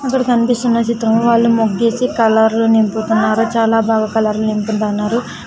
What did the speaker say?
ఇక్కడ కన్పిస్తున్న చిత్రంలో వాళ్ళు ముగ్గేసి కలర్లు నింపుతున్నారు చాలా బాగా కలర్లు నింపుతన్నారు.